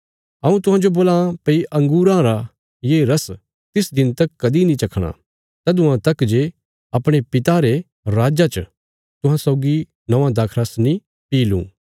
हऊँ तुहांजो बोलां भई अंगूरां रा ये रस तिस दिन तक कदीं नीं चखणा तदुआं तक जे अपणे पिता रे राज्जा च तुहां सौगी नौआं दाखरस नीं पी लुँ